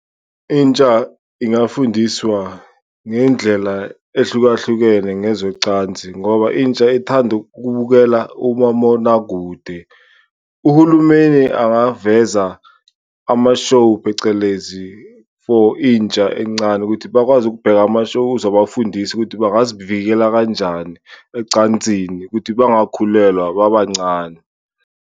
Intsha ingafundiswa ngendlela ehlukahlukene ngezocansi ngoba intsha ithanda ukubukela umamonakude, uhulumeni angaveza ama-show phecelezi for intsha encane ukuthi bakwazi ukubheka ama-show. Uzobafundisa ukuthi bangazivikela kanjani ecansini ukuthi bengakhulelwa babancane.